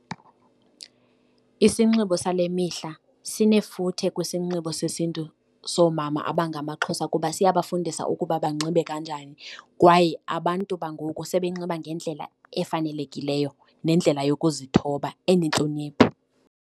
Isinxibo sale mihla sinefuthe kwisinxibo sesintu soomama abangamaXhosa kuba siyabafundisa ukuba banxibe kanjani kwaye abantu bangoku sebenxiba ngendlela efanelekileyo nendlela yokuzithoba enentlonipho.